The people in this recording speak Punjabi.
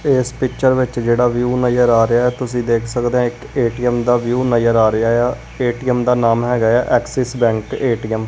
ਇਸ ਪਿਕਚਰ ਵਿੱਚ ਜਿਹੜਾ ਵਿਊ ਨਜ਼ਰ ਆ ਰਿਹਾ ਤੁਸੀਂ ਦੇਖ ਸਕਦੇ ਹ ਇਕ ਏਟੀਐਮ ਦਾ ਵਿਊ ਨਜ਼ਰ ਆ ਰਿਹਾ ਆ ਏਟੀਐਮ ਦਾ ਨਾਮ ਹੈਗਾ ਆ ਐਕਸਿਸ ਬੈਂਕ ਏਟੀਐਮ ।